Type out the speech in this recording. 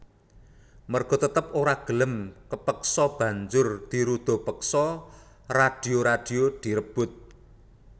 Merga tetep ora gelem kepeksa banjur dirudapeksa radio radio direbut